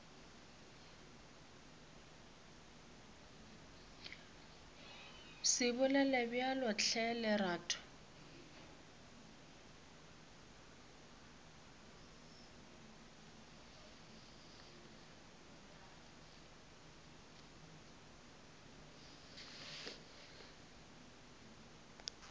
se bolele bjalo hle lerato